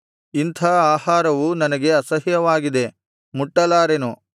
ಇಂಥಾ ಆಹಾರವು ನನಗೆ ಅಸಹ್ಯವಾಗಿದೆ ಮುಟ್ಟಲಾರೆನು